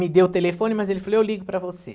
Me deu o telefone, mas ele falou, eu ligo para você.